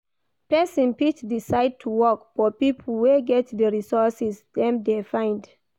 Persin fit decide to work for pipo wey get di resources dem de find